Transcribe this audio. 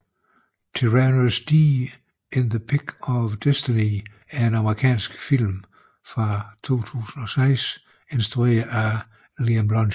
Tenacious D in The Pick of Destiny er en amerikansk film fra 2006 instrueret af Liam Lynch